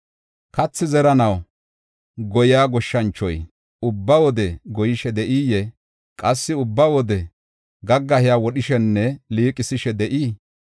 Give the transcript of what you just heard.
Kathi zeranaw goyiya goshshanchoy ubba wode goyishe de7iyee? Qassi ubba wode gaggahiya wodhishenne liiqisishe de7ii?